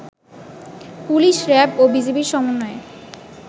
police, RAB ও বিজিবির সমন্বয়ে